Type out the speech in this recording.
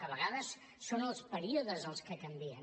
a vegades són els períodes els que canvien